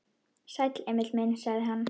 Sæll, Emil minn, sagði hann.